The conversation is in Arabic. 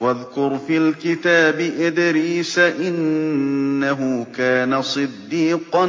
وَاذْكُرْ فِي الْكِتَابِ إِدْرِيسَ ۚ إِنَّهُ كَانَ صِدِّيقًا